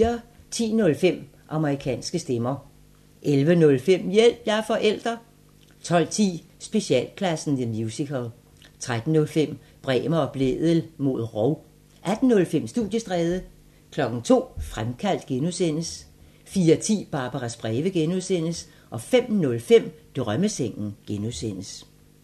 10:05: Amerikanske stemmer 11:05: Hjælp – jeg er forælder 12:10: Specialklassen The Musical 13:05: Bremer og Blædel mod rov 18:05: Studiestræde 02:00: Fremkaldt (G) 04:10: Barbaras breve (G) 05:05: Drømmesengen (G)